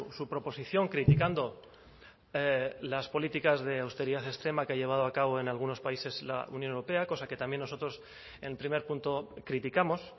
su proposición criticando las políticas de austeridad extrema que ha llevado a cabo en algunos países la unión europea cosa que también nosotros en primer punto criticamos